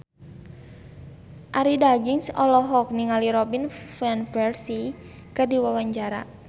Arie Daginks olohok ningali Robin Van Persie keur diwawancara